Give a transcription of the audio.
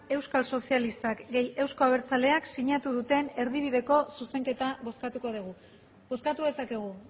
euskal sozialistak euzko abertzaleak sinatu duten erdibideko zuzenketa bozkatuko dugu bozkatu dezakegu